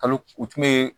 Kalo u tun bɛ